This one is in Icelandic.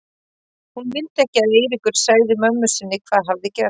Hún vildi ekki að Eiríkur segði mömmu sinni hvað hafði gerst.